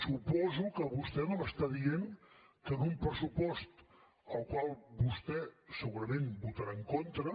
suposo que vostè no m’està dient que en un pressupost al qual vostè segurament votarà en contra